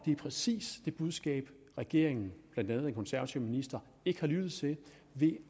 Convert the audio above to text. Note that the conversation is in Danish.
er præcis det budskab regeringen blandt andet den konservative minister ikke har lyttet til ved